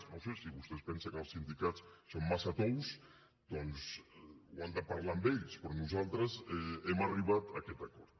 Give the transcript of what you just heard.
no ho sé si vostès pensen que els sindicats són massa tous doncs ho han de parlar amb ells però nosaltres hem arribat a aquest acord